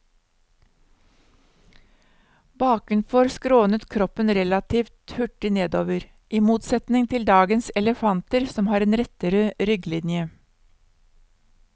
Bakenfor skrånet kroppen relativt hurtig nedover, i motsetning til dagens elefanter som har en rettere rygglinje.